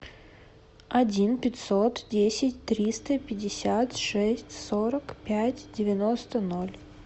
один пятьсот десять триста пятьдесят шесть сорок пять девяносто ноль